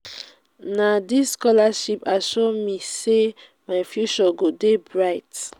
na dis scholarship assure me sey my future go dey bright.